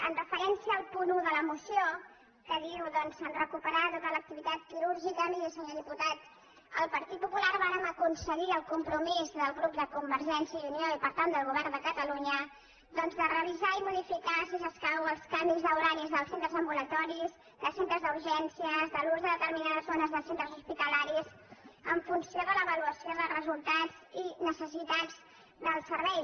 amb referència al punt un de la moció que diu doncs recuperar tota l’activitat quirúrgica miri senyor di·putat el partit popular vàrem aconseguir el compro·mís del grup de convergència i unió i per tant del govern de catalunya de revisar i modificar si s’es·cau els canvis d’horaris dels centres ambulatoris de centres d’urgències de l’ús de determinades zones de centres hospitalaris en funció de l’avaluació de resul·tats i necessitats del servei